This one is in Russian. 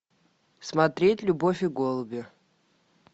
смотреть любовь и голуби